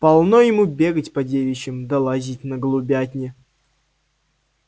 полно ему бегать по девичьим да лазить на голубятни